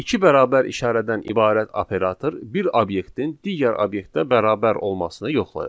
İki bərabər işarədən ibarət operator bir obyektin digər obyektə bərabər olmasını yoxlayır.